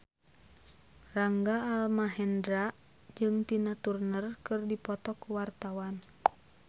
Rangga Almahendra jeung Tina Turner keur dipoto ku wartawan